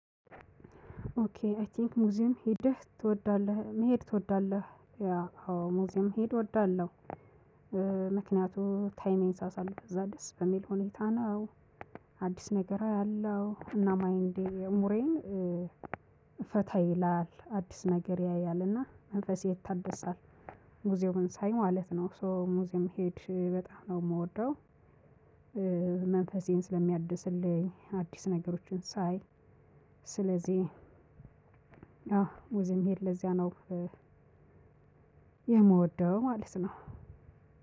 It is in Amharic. ኦኬ አይ ቲንክ ሙዚየም ሄደህ ትወዳለህ መሄድ ትወዳለህ? ያ አዎ ሙዚየም መሄድ እወዳለሁ ምክንያቱም ታይሜን ሳሳለፍ እዛ ደስ በሚል ሁኔታ ነው። አዲስ ነገር አያለው እና ማይንዴ አእምሮዬም። ፈታ ይላል አዲስ ነገር ያያል እና መንፈሴ ይታደሳል። ሙዚየሙን ሳይ ማለት ነው ሶ ሙዚየም መሄድ በጣም ነው የምወደው። መንፈሴን ስለሚያድስልኝ አዲስ ነገሮችን ሳይ። ስለዚህ አዎ ሙዚየም መሄድ ለዚያ ነው የምወደው ማለት ነው።